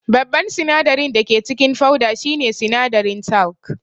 Babban sinadarin dake cikin fauda shine sinadarin talc